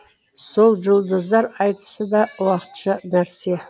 сол жұлдыздар айтысы да уақытша нәрсе